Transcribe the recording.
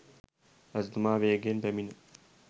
රජතුමා වේගයෙන් පැමිණ